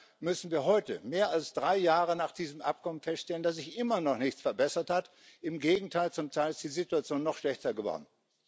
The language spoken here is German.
Leider müssen wir heute mehr als drei Jahre nach diesem Abkommen feststellen, dass sich immer noch nichts verbessert hat, im Gegenteil, zum Teil ist die Situation noch schlechter geworden.